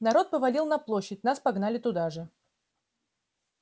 народ повалил на площадь нас погнали туда же